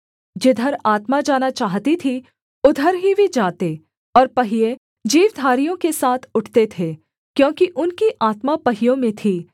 जिधर आत्मा जाना चाहती थी उधर ही वे जाते और पहिये जीवधारियों के साथ उठते थे क्योंकि उनकी आत्मा पहियों में थी